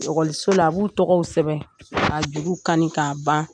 la; a b'u tɔgɔw sɛbɛn ka juruw kani k'a ban.